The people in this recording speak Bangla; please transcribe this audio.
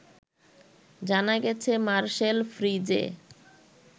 জানা গেছে মারসেল ফ্রিজে